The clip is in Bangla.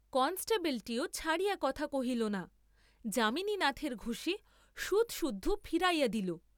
কনেষ্টবলটিও ছাড়িয়া কথা কহিল না, যামিনীনাথের ঘুসী সুদসুদ্ধ ফিরাইয়া দিল।